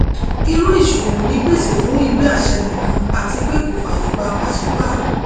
irú ìṣòwò yìí pèsè fún ìwé àṣẹ nìkan àti pé kò fàyè gba pàṣípàrọ